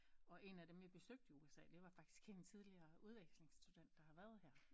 Og en af dem jeg besøgte i USA det var faktisk en af de tidligere udvekslingsstudent der har været her